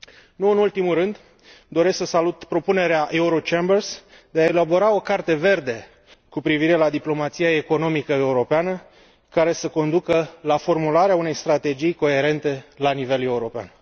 Nu în ultimul rând, doresc să salut propunerea Eurochambers de a elabora o Carte verde cu privire la diplomația economică europeană, care să conducă la formularea unei strategii coerente la nivel european.